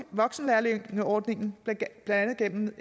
voksenlærlingeordningen blandt andet gennem